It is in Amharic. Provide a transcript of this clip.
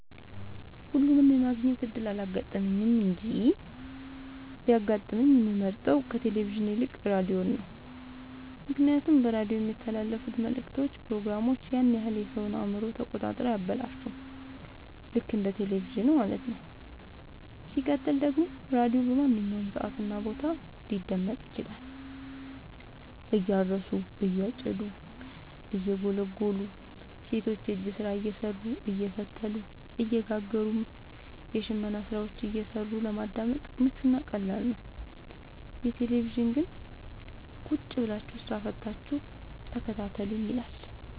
ሁለቱንም የማግኘት እድል አላጋጠመኝም እንጂ ቢያጋጥመኝ የምመርጠው ከቴሌቪዥን ይልቅ ራዲዮን ነው ምክንያቱም በራዲዮ የሚተላለፍት መልክቶች ፕሮግራሞች ያን ያክል የሰወን አእምሮ ተቆጣጥረው አያበላሹም ልክ እንደ በቴለቪዥን ማለት ነው። ሲቀጥል ደግሞ ራዲዮ በማንኛውም ሰዓት እና ቦታ ሊደመጥ ይችላል። እያረሱ የጨዱ እየጎሉ ሰቶች የእጅ ስራ እየሰሩ አየፈተሉ እየጋገሩም የሽመና ስራዎችን እየሰሩ ለማዳመጥ ምቹ እና ቀላል ነው። የቴሌቪዥን ግን ቁጭብላችሁ ስራ ፈታችሁ ተከታተሉኝ ይላል።